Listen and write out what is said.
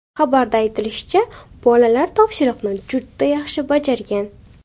Xabarda aytilishicha, bolalar topshiriqni juda yaxshi bajargan.